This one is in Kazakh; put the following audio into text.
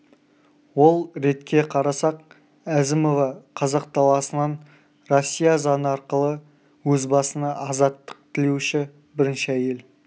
ол ретке қарасақ әзімова қазақ даласынан россия заңы арқылы өз басына азаттық тілеуші бірінші әйел